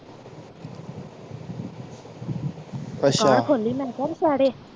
ਅੱਛਾ ਦੁਕਾਨ ਖੋਲੀ ਮੈਂ ਕਿਹਾ ਦੁਸਹਿਰੇ